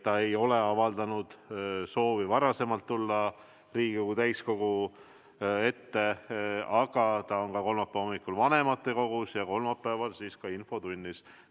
Ta ei ole avaldanud soovi tulla varem Riigikogu täiskogu ette, aga ta on kolmapäeva hommikul vanematekogus ja kolmapäeval ka infotunnis.